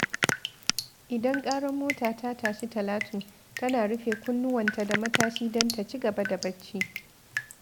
Idan ƙarar mota ta tashi Talatu, tana rufe kunnuwanta da matashi don ta ci gaba da barci.